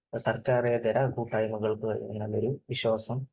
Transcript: സർക്കാരേതര കൂട്ടായ്മകൾക്കു കഴിയും എന്നുള്ള ഒരു വിശ്വാസം